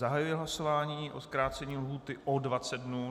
Zahajuji hlasování o zkrácení lhůty o 20 dnů.